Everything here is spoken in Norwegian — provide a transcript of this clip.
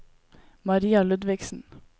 Maria Ludvigsen